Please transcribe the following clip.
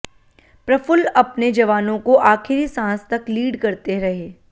प्रफुल्ल अपने जवानों को आखिरी सांस तक लीड करते रहे